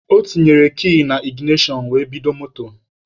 O tinyere kii na iginashọn were bido moto.